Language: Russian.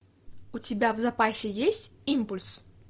у тебя в запасе есть импульс